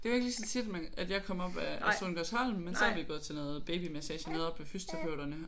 Det er jo ikke lige så tit man at jeg kommer op ad ad Sohngårdsholm men så har vi gået til noget babymassage noget oppe ved fysioterapeuterne